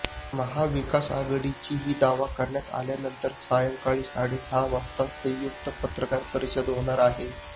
महाविकास आघाडीची हा दावा करण्यात आल्यानंतर सायंकाळी साडेसहा वाजता संयुक्त पत्रकार परिषद होणार आहे